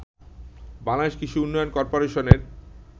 বাংলাদেশ কৃষি উন্নয়ন কর্পোরেশনের